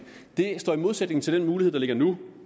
det står i modsætning til den mulighed der ligger nu